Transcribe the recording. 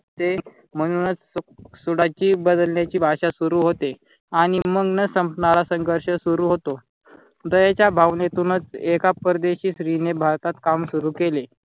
ते म्हणूनच सुडाची बदल्याची भाषा सुरु होते. आणि मग न संपणारा संघर्ष सुरु होतो. दयेच्या भावनेतूनच एका परदेशी स्त्री ने भारतात काम सुरु केले